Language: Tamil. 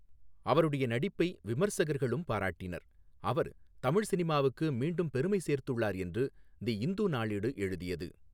அவருடைய நடிப்பை விமர்சகர்களும் பாராட்டினர், அவர் தமிழ் சினிமாவுக்கு மீண்டும் பெருமை சேர்த்துள்ளார் என்று தி இந்து நாளேடு எழுதியது.